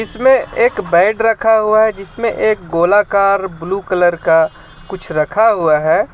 इसमें एक बेड रखा हुआ है जिसमें एक गोलाकार ब्लू कलर का कुछ रखा हुआ है.